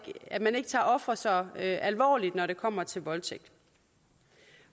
at man ikke tager ofre så alvorligt når det kommer til voldtægt